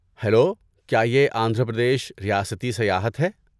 Hello, کیا یہ آندھرا پردیش ریاستی سیاحت ہے؟